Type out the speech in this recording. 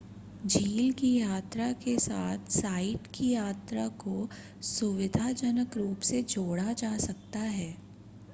झील की यात्रा के साथ साइट की यात्रा को सुविधाजनक रूप से जोड़ा जा सकता है